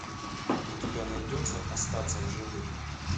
у тебя найдется остаться в живых